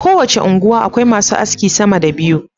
Ko wace unguwa Akwai masu aski sama da biyu